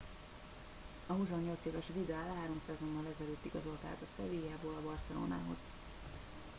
a 28 éves vidal három szezonnal ezelőtt igazolt át a sevillából a barcelonához